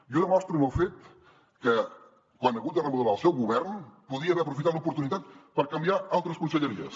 i ho demostra amb el fet que quan ha hagut de remodelar el seu govern podia haver aprofitat l’oportunitat per canviar altres conselleries